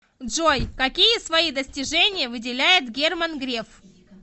джой какие свои достижения выделяет герман греф